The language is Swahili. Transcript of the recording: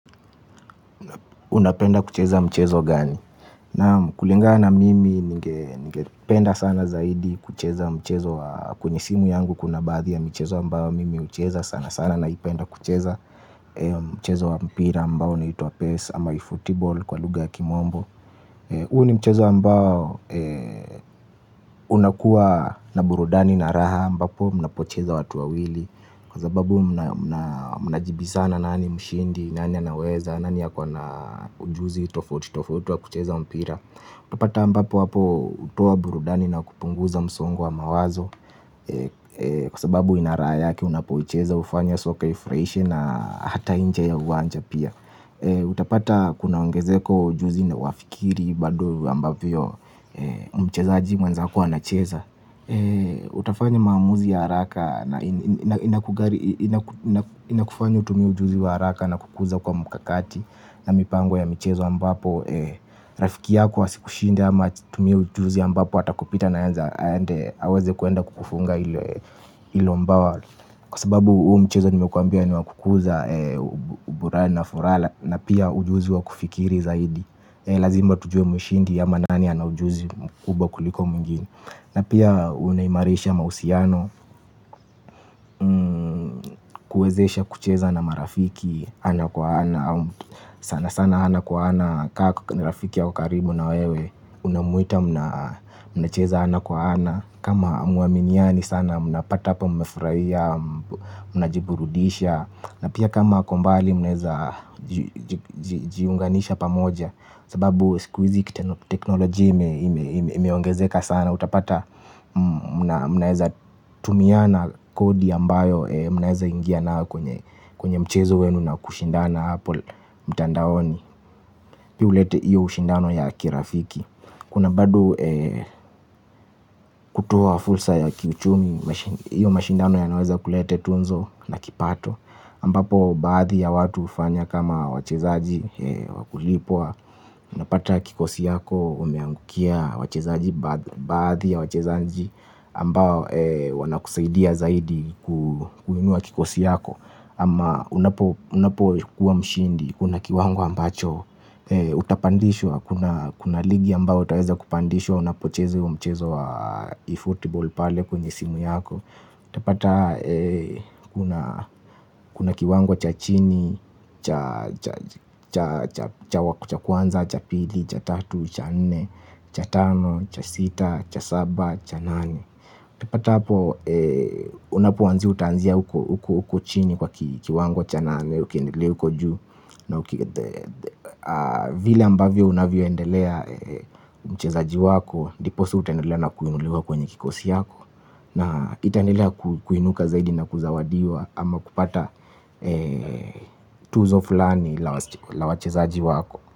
Unapenda kucheza mchezo gani. Naam kulingana mimi ninge penda sana zaidi kucheza mchezo wa kwenye simu yangu kuna baadhi ya michezo ambayo mimi ucheza sana sana na ipenda kucheza. Mchezo wa mpira ambao unaitwa Pes ama efootball kwa lugha ya kimombo. Huu ni mchezo ambao unakuwa na burudani na raha ambapo mnapocheza watu wa wili. Kwa zababu mna mnajibisana nani mshindi nani anaweza. Nani akona ujuzi tofauti tofauti wa kucheza mpira. Utapata ambapo hapo utoa burudani na kupunguza msongo wa mawazo. Kwa sababu ina raha yake unapoicheza ufanya soka ifuraishe na hata inje ya uwanja pia. Utapata kunaongezeko ujuzi na uwafikiri bado ambavyo mchezaji mwenzako ana cheza. Utafanya maamuzi ya haraka. Na inakufanya utumie ujuzi wa haraka. Na kukuza kwa mkakati na mipango ya michezo ambapo rafiki yako asikushinde ama atumie ujuzi ambapo atakupita na enza aende aweze kwenda kukufunga hilo mbawa. Kwa sababu huu mchezo nimekwambia ni wakukuza. Uburani na furala. Na pia ujuzi wa kufikiri zaidi. Lazima tujue mushindi ama nani ana ujuzi mkubwa kuliko mwingine. Na pia unaimarisha mahusiano kuwezesha kucheza na marafiki ana kwa ana sana sana ana kwa ana kaa ni rafiki ako karibu na wewe unamuita mna cheza ana kwa ana kama hamuaminiani sana muna pata hapa mmefurahia mna jiburudisha na pia kama akombali munaeza jiunganisha pamoja. Sababu siku hizi kitano teknoloji imeongezeka sana. Utapata mnaeza tumiana kodi ambayo mnaeza ingia nayo kwenye mchezo wenu na kushindana apo mtandaoni. Pia uleta iyo ushindano ya kirafiki. Kuna bado kutoa fulsa ya kiuchumi iyo mashindano ya naweza kulete tunzo na kipato ambapo baadhi ya watu ufanya kama wachezaji wakulipwa unapata kikosi yako umeangukia wachezaji baadhi ya wachezaji ambao wanakusaidia zaidi kuinua kikosi yako ama unapo kuwa mshindi kuna kiwango ambacho utapandishwa kuna kuna ligi ambayo utaweza kupandishwa unapocheza hiyo mchezo wa efootball pale kwenye simu yako utapata kuna kuna kiwango cha chini cha, cha kwanza, cha pili, cha tatu, cha nne, cha tano, cha sita, cha saba, cha nane utapata hapo unapoanzia utaanzia uko uko chini kwa kiwango cha nane. Ukiendelea uko juu na vile ambavyo unavyoendelea mchezaji wako ndiposa utaendelea na kununuliwa kwenye kikosi yako. Na itaendelea kuinuka zaidi na kuzawadiwa ama kupata tuzo fulani la wachezaji wako.